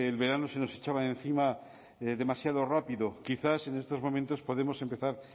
verano se nos echaba encima demasiado rápido quizás en estos momentos podemos empezar